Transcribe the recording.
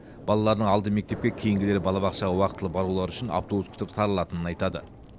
балаларының алды мектепке кейінгілері балабақшаға уақытылы барулары үшін автобус күтіп сарылатынын айтады